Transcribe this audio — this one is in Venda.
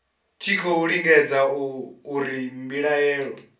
tshi khou lingedza uri mbilaelo